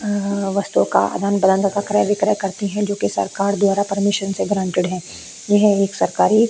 वास्तु का आदान-प्रदान तथा क्रय-विक्रय करती है जोकि सरकार द्वारा परमिशन से गारंटेड है यह एक सरकारी ----